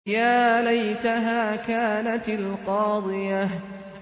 يَا لَيْتَهَا كَانَتِ الْقَاضِيَةَ